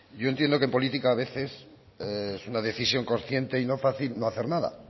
yo entiendo que en política a veces es una decisión consciente y no fácil no hacer nada